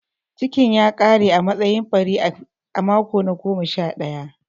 Cikn ya ƙare a matsayin ɓari a mako na goma sha ɗaya.